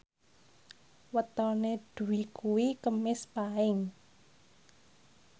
wetone Dwi kuwi Kemis Paing